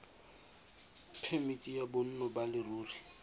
phemiti ya bonno ba leruri